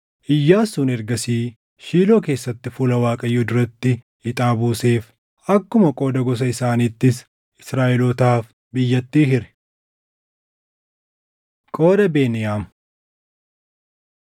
Iyyaasuun ergasii Shiiloo keessatti fuula Waaqayyoo duratti ixaa buuseef; akkuma qooda gosa isaaniittis Israaʼelootaaf biyyattii hire. Qooda Beniyaam